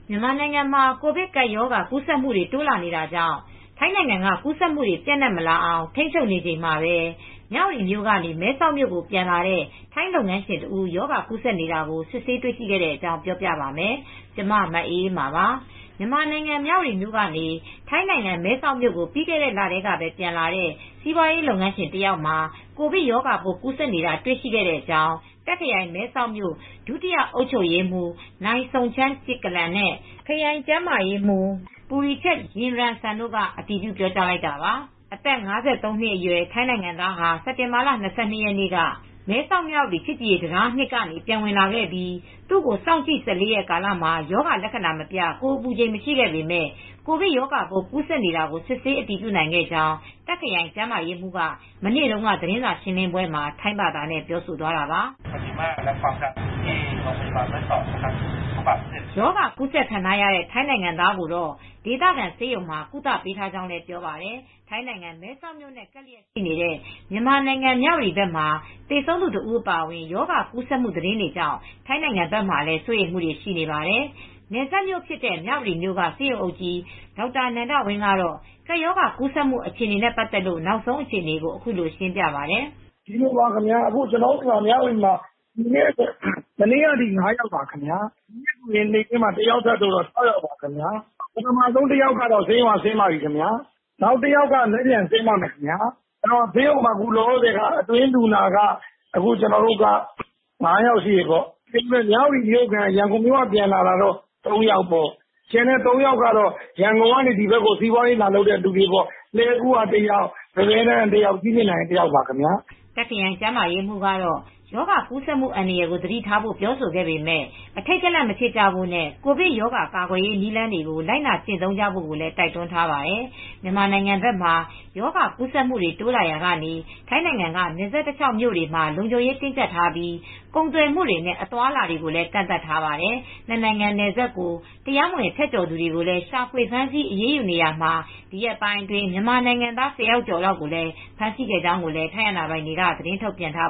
မြန်မာနိုင်ငံမှာ ကိုဗစ်ကပ်ရောဂါကူးစက်မှုတွေ တိုးလာနေတာကြောင့် ထိုင်းနိုင်ငံက ကူးစက်မှုတွေ ပျံ့နှံ့မလာအောင် ထိန်းချုပ်နေချိန်မှာပဲ မြဝတီမြို့ကနေ မဲဆောက်မြို့ကို ပြန်လာတဲ့ ထိုင်းလုပ်ငန်းရှင်တစ်ဦး ရောဂါကူးစက်နေတာကို စစ်ဆေးတေ့ွရှိခဲ့တဲ့အကြောင်း ပြောပြပါမယ်။ ဗွီအိုအေမြန်မာပိုင်းသတင်းထောက် မအေးအေးမာက သတင်းပေးပို့ထားပါတယ်။ မြန်မာနိုင်ငံ မြဝတီမြို့ကနေ ထိုင်းနိုင်ငံ မဲဆောက်မြို့ကို ပြီးခဲ့တဲ့လထဲမှာပဲ ပြန်လာတဲ့ စီးပွားရေးလုပ်ငန်းရှင်တယောက်မှာ ကိုဗစ်ရောဂါပိုး ကူးစက်နေတာ တွေ့ရှိတဲ့အကြောင်း တာခ့် ခရိုင် မဲဆောက်မြို့ ဒုတိယအုပ်ချုပ်ရေးမှူး Mr.Somchai Kitchareonrungroj၊ နိုင်စုန်ချိုင်း ကစ်ကျလန် နဲ့ ခရိုင်ကျန်းမာရေးမှုး Puri Chat Yingrungsan တို့က အတည်ပြု ပြောဆိုလိုက်ကြတာပါ။ "အသက် ၅၃ နှစ်အရွယ် ထိုင်းနိုင်ငံသားဟာ စက်တင်ဘာလ ၂၂ ရက်နေ့က မဲဆောက်-မြဝတီ ချစ်ကြည်ရေးတံတားအမှတ် (၂) ကနေ ပြန်ဝင်ရောက်လာခဲ့ပြီး သူ့ကို စောင့်ကြည့် ၁၄ ရက် ကာလ မှာ ရောဂါလက္ခဏာ မပြ ကိုယ်အပူချိန်လည်း မရှိခဲ့ပေမဲ့ ကိုဗစ်ရောဂါပိုး ကူးစက်နေတာကို စစ်ဆေးအတည်ပြုနိုင်ခဲ့ကြောင်း တာ့ခ်ခရိုင်ကျန်းမာရေးမှူးက မနေ့တုန်းက သတင်းစာရှင်းလင်းပွဲမှာ ထိုင်းဘာသာနဲ့ ပြောသွားတာပါ။" ရောဂါကူးစက်ခံထားရတဲ့ ထိုင်းနိုင်ငံသားကိုတော့ ဒေသခံဆေးရုံမှာ ကုသပေးထားကြောင်းလည်း ပြောပါတယ်။ ထိုင်းနိုင်ငံမဲဆောက်မြို့နဲ့ ကပ်လျက်ရှိနေတဲ့ မြန်မာနိုင်ငံ မြဝတီဘက်မှာ သေဆုံးသူ တဦးအပါအဝင် ရောဂါကူးစက်မှု သတင်းတွေကြောင့် ထိုင်းနိုင်ငံဘက်မှာ စိုးရိမ်မှုတွေလည်း ရှိနေပါတယ်။ နယ်စပ်မြို့ဖြစ်တဲ့ မြဝတီမြို့က ဆေးရုံအုပ်ကြီးဒေါက်တာနန္ဒဝင်းကတော့ ကပ်ရောဂါကူးစက်မှု အခြေအနေနဲ့ ပတ်သက်လို့ နောက်ဆုံးအခြေအနေကို အခုလိုရှင်းပြပါတယ်။ "ကျနော်တို့ မနေ့ကထိ ၅ယောက် ဒီနေ့နေ့လယ်မှာ တဦးထပ်တိုးတော့ ၆ယောက်ရှိပါတယ်။ တယောက်က ဆေးရုံက ဆင်းပါတယ်။ ဆေးရုံမှာအတွင်း လူနာလက်ရှိ ၅ ဦးပါ။ မြဝတီမြို့ခံ ရန်ကုန်မြို့က ပြန်လာတာက ၃ယောက်၊ ကျန်တဲ့ ၃ယောက်က လှည်ကူးက တယောက်၊ ပန်းပဲတန်းက တယောက်၊ ကြည့်မြင်တိုင်က တယောက်ပါခင်ဗျာ။" တာ့ခ်ခရိုင်ကျန်းမာရေးမှူးကတော့ ရောဂါကူးစက်မှု အန္တရာယ်ကို သတိထားဖို့ ပြောဆိုခဲ့ပေမဲ့ အထိတ်တလန့် မဖြစ်ကြဖို့နဲ့ ကိုဗစ်ရောဂါ ကာကွယ်ရေး နည်းလမ်းတွေကို လိုက်နာကျင့်သုံးဖို့လည်း တိုက်တွန်းထားပါတယ်။ မြန်မာနိုင်ငံဘက်မှာ ရောဂါကူးစက်မှုတွေ တိုးလာရာက ထိုင်းနိုင်ငံက နယ်စပ်တလျှောက်မြို့တွေမှာ လုံခြုံရေးတင်းကြပ်ထားပြီး ကုန်သွယ်မှုတွေနဲ့ အသွားအလာတွေကိုလည်း ကန့်သတ်ထားပါတယ်။ နှစ် နိုင်ငံ နယ်စပ်ကို တရားမဝင် ဖြတ်ကျော်သူတွေကိုလည်း ရှာဖွေဖမ်းဆီး အရေးယူနေရာမှာ ဒီရက်ပိုင်းအတွင်း မြန်မာနိုင်ငံသား ၁၀ ယောက်ကျော်လောက် ဖမ်းဆီးခဲ့ကြောင်းလည်း ထိုင်းအာဏာပိုင်တွေက သတင်းထုတ်ပြန်ထား